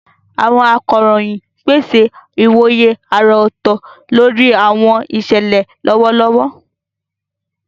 Àwọn akọ̀ròyìn ń pèsè ìwòye àrà ọ̀tọ̀ lórí àwọn ìṣẹ̀lẹ̀ lọ́wọ́lọ́wọ́.